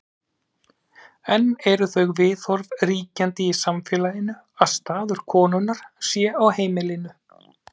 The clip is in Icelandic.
enn eru þau viðhorf ríkjandi í samfélaginu að staður konunnar sé á heimilinu